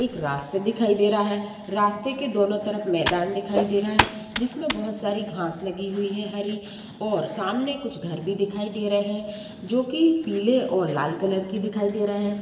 एक रास्ता दिखाई दे रहा है रास्ते के दोनों तरफ मैदान दिखाई दे रहा है जिसमें बहुत सारी घास लगी हुई है हरि और सामने कुछ घर भी दिखाई दे रहे हैं जो की पीले और लाल कलर के दिखाई दे रहे हैं।